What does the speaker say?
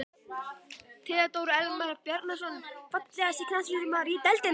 Theodór Elmar Bjarnason Fallegasti knattspyrnumaðurinn í deildinni?